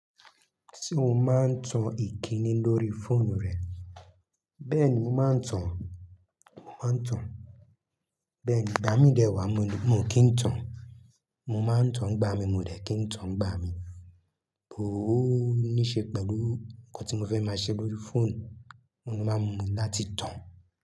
Ṣé o máa ń tan ìkíni lórí fóònù rẹ? Bẹ́ẹ̀ ni, máa ń tan, máa ń tan. Bẹ́ẹ̀ ni, gbá mi dè wá, mo lè, mo kì í tan. Mo máa ń tan, gbá mi, mo dẹ̀ kín ń tan, gbá mi. Bọ̀ o ní ṣe pẹ̀lú nǹkan tí mo fẹ́ máa ṣe lórí fóònù, òun ló máa ń múmi láti tàn.